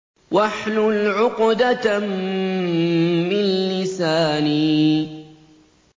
وَاحْلُلْ عُقْدَةً مِّن لِّسَانِي